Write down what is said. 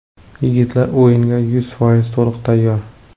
Yigitlar o‘yinga yuz foiz to‘liq tayyor.